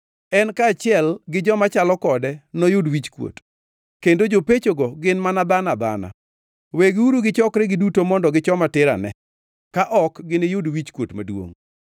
En kaachiel gi joma chalo kode noyud wichkuot; kendo jopechogo gin mana dhano adhana. Wegiuru gichokre giduto mondo gichoma tir ane; ka ok giniyud wichkuot maduongʼ.